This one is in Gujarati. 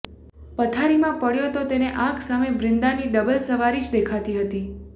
પથારીમાં પડ્યો તો તેને આંખ સામે બ્રિન્દાની ડબલ સવારી જ દેખાતી હતી